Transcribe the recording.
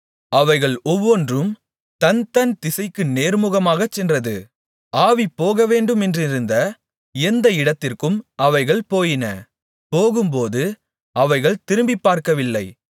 அவைகள் ஒவ்வொன்றும் தன்தன் திசைக்கு நேர்முகமாகச் சென்றது ஆவி போகவேண்டுமென்றிருந்த எந்த இடத்திற்கும் அவைகள் போயின போகும்போது அவைகள் திரும்பிப்பார்க்கவில்லை